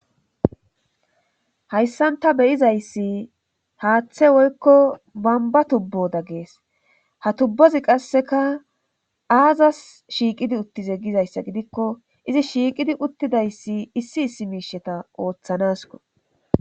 Hayssan ta beyizayssi haaththe woykko bamba tubboda gees ha tubbozi qasseka aazas shiiqidi uttize gizayssa gidikko izi shiiqidi uttidayssi issi issi miisheta ooththanasko.